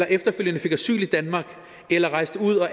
efterfølgende fik asyl i danmark eller rejste ud og